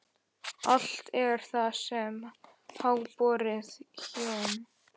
Allt er það sem háborið hjóm.